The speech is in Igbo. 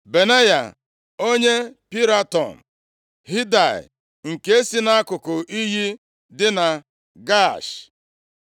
Benaya, onye Piraton, Hidaị, nke si nʼakụkụ iyi dị na Gaash,